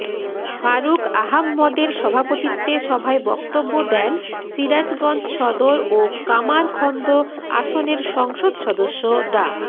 ফারুক আহাম্মদের সভাপতিত্বে সভায় বক্তব্য দেন সিরাজগঞ্জ সদর ও কামারখন্দ আসনের সংসদ সদস্য ডা